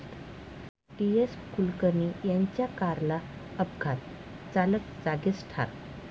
डी.एस.कुलकर्णी यांच्या कारला अपघात, चालक जागीच ठार